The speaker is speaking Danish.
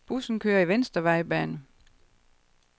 Bussen kører i venstre vejbane.